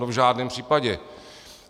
No v žádném případě.